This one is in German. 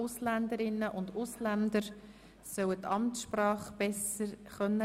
Die Ausländerinnen und Ausländer sollen die Amtssprache besser lernen können.